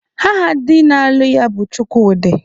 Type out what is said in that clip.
Aha di na-alụ ya bụ Chukwudị